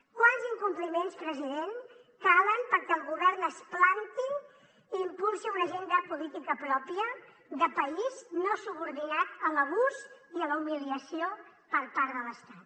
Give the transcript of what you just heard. quants incompliments president calen perquè el govern es planti i impulsi una agenda política pròpia de país no subordinat a l’abús i a la humiliació per part de l’estat